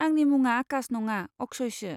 आंनि मुङा आकाश नङा, अक्षयसो।